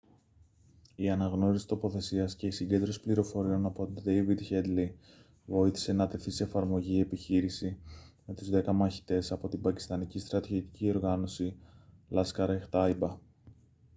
η αναγνώριση τοποθεσίας και η συγκέντρωση πληροφοριών από τον ντέηβιντ χέντλεϊ βοήθησε να τεθεί σε εφαρμογή η επιχείρηση με τους 10 μαχητές από την πακιστανική στρατιωτική οργάνωση laskhar-e-taiba